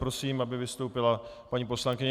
Prosím, aby vystoupila paní poslankyně.